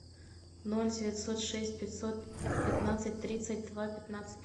ноль девятьсот шесть пятьсот пятнадцать тридцать два пятнадцать